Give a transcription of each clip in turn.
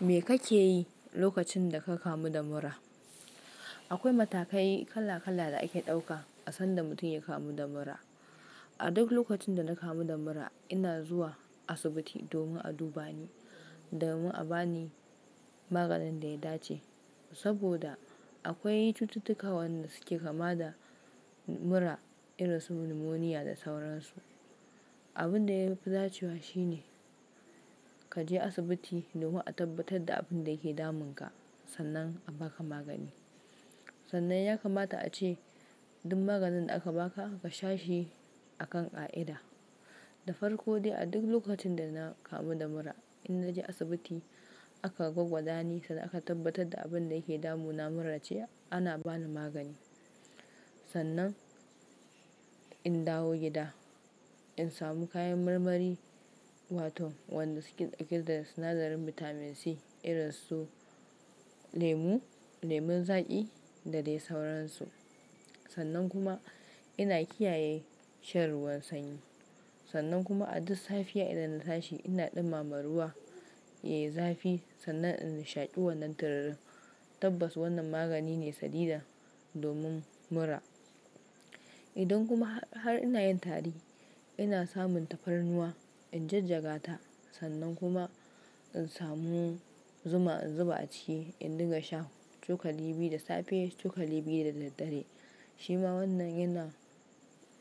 Me kake yi lokacin da ka kamu da mura? Akwai matakai kala-kala da ake ɗauka a sanda mutum ya kamu da mura. A duk lokacin da na kamu da mura, ina zuwa asibiti domin a duba ni domin a bani maganin da ya dace. Saboda akwai cututtuka wanda suke kama da mura irin su numoniya da sauransu. Abin da ya fi dacewa shine ka je asibiti domin a tabbatar da abin da yake damunka, sannan a baka magani. Sannan ya kamata a ce duk maganin da aka baka ka sha shi akan ƙa'ida. Da farko dai, a duk lokacin da na kamu da mura, in naje asibiti aka gwagwadani, sanda aka tabbatar da abin da yake damunana mura ce, ana bani magani. Sannan in dawo gida, in samu kayan marmari wato wadanda suke da sinadarin bitamin C irin su lemu, lemun zaƙi da dai sauransu. Sannan kuma ina kiyaye shan ruwan sanyi. Sannan kuma a duk safiya idan na tashi ina ɗumma ma ruwa, yai zafi sannan in shaƙi wannan tururi. Tabbas wannan magani ne sadida domin mura. Idan kuma har ina yin tari, ina samun tafarnuwa, in jajjaga ta sannan kuma in samu zuma, in zuba a ciki in dinga sha cokali biyu da safe, cokali biyu da dare. Shi ma wannan yana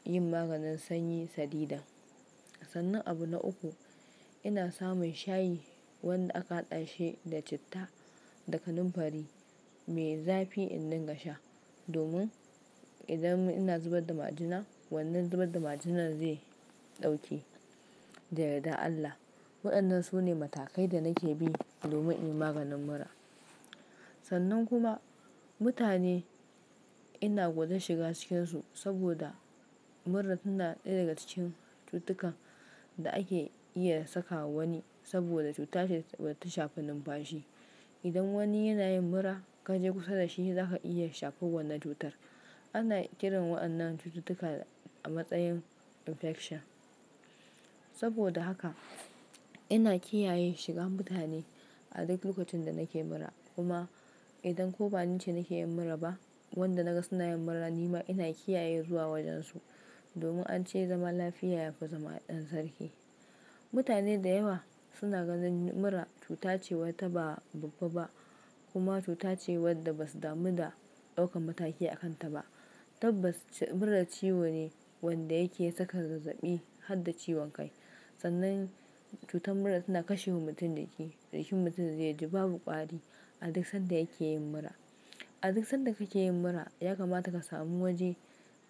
yin maganin sanyi sadida. Sannan abu na uku, ina samun shayi wanda aka hada shi da citta da kanunfari mai zafi in dinga sha domin idan ina zubar da majina, wannan zubar da majinan zai ɗauke da yardar Allah. Waɗannan su ne matakai da nake bi domin in maganin mura. Sannan kuma mutane ina gudan shiga cikinsu saboda mura tana ɗaya daga cikin cututtukan da ake iya saka wani saboda cutace wadda ta shafi numfashi. Idan wani yana yin mura, ka je kusa da shi, zaka iya shafaw wannan cutar. Ana kiran waɗannan cututtuka a matsayin infection. Saboda haka ina kiyaye shigan mutane a duk lokacin da nake mura. Kuma idan ko banice nake yin mura ba, wanda naga suna yin mura nima ina kiyaye zuwa wajensu domin an ce zama lafiya yafi zama ɗan sarki. Mutane da yawa suna ganin mura cuta ce wadda ba babba ba kuma cuta ce wadda basu damu da ɗaukan mataki a kanta ba. Tabbas mura ciwo ne wadda yake saka zazzabi har da ciwon kai. Sannan cutar mura tana kashewa mutum jiki, jikin mutum zai ji babu ƙwari a duk sanda yake yin mura. A duk sanda kake yin mura, ya kamata ka sami waje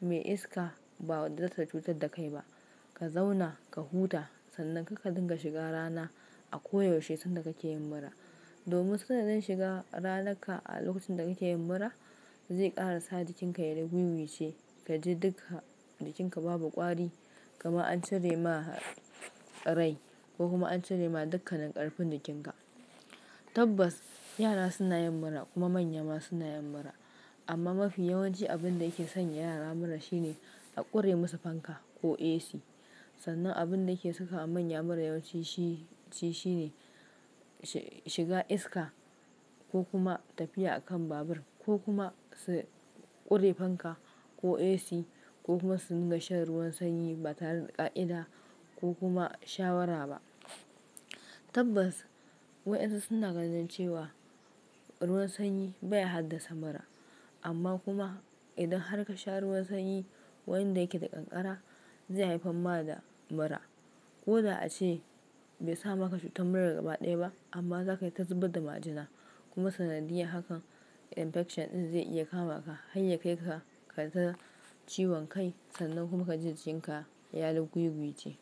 mai iska ba wadda za ta cutar da kai ba. Ka zauna, ka huta sannan kuma kakka dinga shiga rana a koyaushe sanda kake yin mura. Domin sanda zan shiga ranaka a lokacin da kake yin mura, zai ƙara sa jikinka ya yi riguiguice, ka ji duka jikinka babu ƙwari kamar an cire ma rai ko kuma an cire ma dukkanin ƙarfin jikinka. Tabbas yara suna yin mura kuma manya ma suna yin mura. Amma mafi yawanci abin da yake sanya yara mura shine a ƙure musu fanka ko AC. Sannan abin da yake saka manya mura yawanci shi, shi shine shiga iska ko kuma tafiya a kan babur ko kuma su ƙure fanka ko AC ko kuma su dinga shan ruwan sanyi ba tare da ƙa'ida ko kuma shawara ba. Tabbas waɗansu suna ganin cewa ruwan sanyi bai haddasa mura. Amma kuma idan har ka sha ruwan sanyi wanda yake da ƙanƙara, zai haifar ma da mura. Ko da ace bai sa maka cutar mura gaba ɗaya ba amma zakayi ta zubar da majina. Kuma sanadiyya hakan infection ɗin zai iya kama ka har ya kai ka kai ta ciwon kai sannan kuma ka ji jikinka ya yi riguiguice.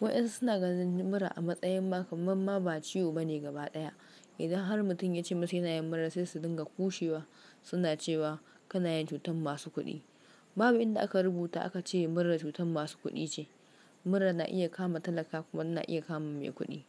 Waɗansu suna gane mura a matsayin ma kamman ma ba ciwo bane gaba ɗaya. Idan har mutum ya ce masa yana yin mura sai su dinga ƙushewa suna cewa kana yin cutar masu kuɗi. Babu inda aka rubuta aka ce mura cutar masu kuɗi ce. Mura na iya kama talaka kuma na iya kama mai kuɗi.